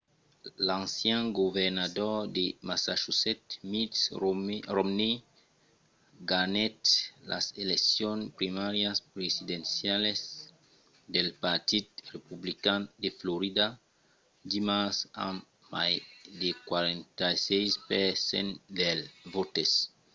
l’ancian governador de massachusetts mitt romney ganhèt las eleccions primàrias presidencialas del partit republican de florida dimars amb mai de 46 per cent dels votes